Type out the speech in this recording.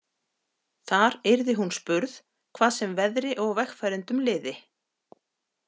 Þar yrði hún spurð, hvað sem veðri og vegfarendum liði.